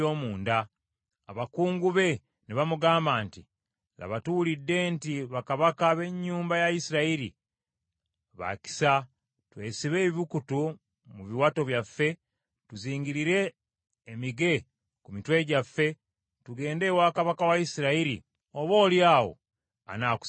Abakungu be ne bamugamba nti, “Laba, tuwulidde nti bakabaka b’ennyumba ya Isirayiri, ba kisa, twesibe ebibukutu mu biwato byaffe, tuzingirire emige ku mitwe gyaffe tugende ewa kabaka wa Isirayiri, oboolyawo anaakusaasira.”